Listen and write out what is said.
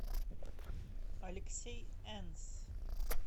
алексей энс